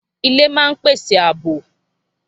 Ilé máa ń pèsè àbò